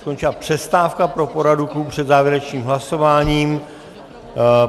Skončila přestávka pro poradu klubu před závěrečným hlasováním.